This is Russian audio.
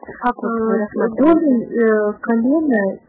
погода